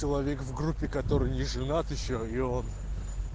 человек в группе который не женат ещё и он